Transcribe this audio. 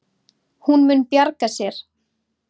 Hún mun bjarga sér.